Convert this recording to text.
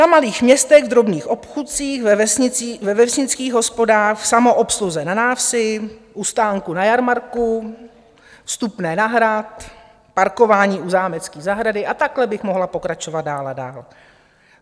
Na malých městech v drobných obchůdcích, ve vesnických hospodách, v samoobsluze na návsi, u stánku na jarmarku, vstupné na hrad, parkování u zámecké zahrady - a takhle bych mohla pokračovat dál a dál.